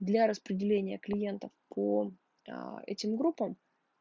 для распределения клиентов по аа этим группам